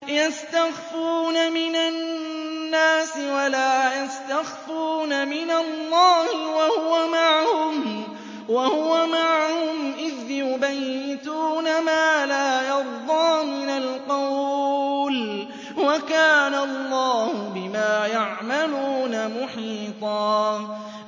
يَسْتَخْفُونَ مِنَ النَّاسِ وَلَا يَسْتَخْفُونَ مِنَ اللَّهِ وَهُوَ مَعَهُمْ إِذْ يُبَيِّتُونَ مَا لَا يَرْضَىٰ مِنَ الْقَوْلِ ۚ وَكَانَ اللَّهُ بِمَا يَعْمَلُونَ مُحِيطًا